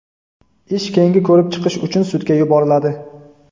Ish keyingi ko‘rib chiqish uchun sudga yuboriladi.